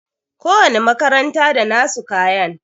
Ko wani makaranta da nasu kayan